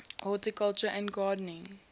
horticulture and gardening